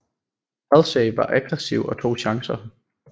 Halsey var aggressiv og tog chancer